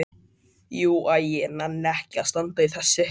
Jú. æ ég nenni ekki að standa í þessu.